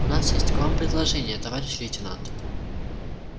у нас есть к вам предложение товарищ лейтенант